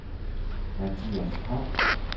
Mathias Koch